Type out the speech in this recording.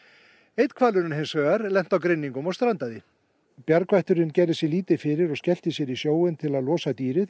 einn hvalurinn hins vegar lenti á grynningum og strandaði bjargvætturinn gerði sér lítið fyrir og skellti sér í sjóinn til að losa dýrið